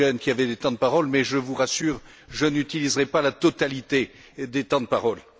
Langen, qui avaient des temps de parole, mais je vous rassure, je n'utiliserai pas la totalité des temps de parole.